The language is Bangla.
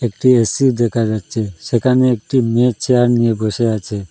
একটি এ_সি দেখা যাচ্ছে সেখানে একটি মেয়ে চেয়ার নিয়ে বসে আছে।